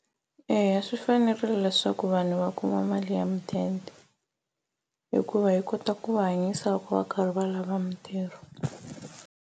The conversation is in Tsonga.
Eya, swi fanerile leswaku vanhu va kuma mali ya mudende hikuva yi kota ku va hanyisa loko va karhi va lava mitirho.